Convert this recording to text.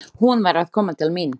Hún var að koma til mín.